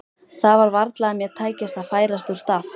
Það var varla að mér tækist að færast úr stað.